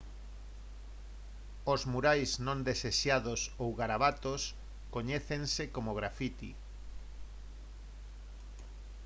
os murais non desexados ou garabatos coñécense como graffiti